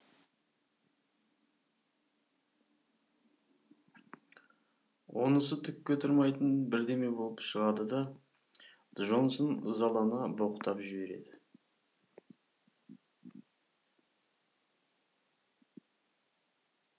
онысы түкке тұрмайтын бірдеме болып шығады да джонсон ызалана боқтап жібереді